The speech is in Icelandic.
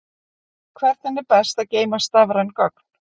Hvernig er best að geyma stafræn gögn?